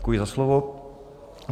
Děkuji za slovo.